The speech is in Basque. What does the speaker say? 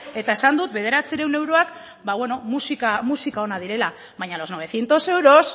eta esan dut bederatziehun euroak musika ona direla baina los novecientos euros